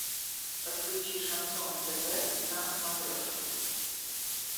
подключи шансон тв на смотрешке